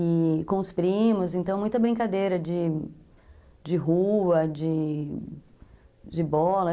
E com os primos, então muita brincadeira de de rua, de de bola.